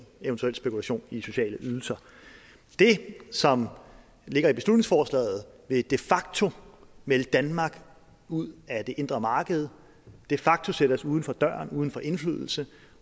eventuel spekulation i sociale ydelser det som ligger i beslutningsforslaget vil de facto melde danmark ud af det indre marked de facto sætter os uden for døren uden for indflydelse